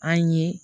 An ye